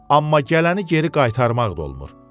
Amma gələni geri qaytarmaq da olmur.